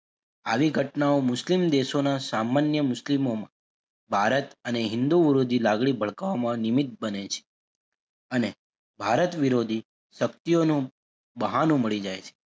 આવી ઘટનાઓ મુસ્લિમ દેશોના સામાન્ય મુસ્લિમો ભારત અને હિંદુ ઉરુજી લાગણી ભડકાવામાં નિમિત બને છે અને ભારત વિરોધી શક્તિઓનું બહાનું મળી જાય છે.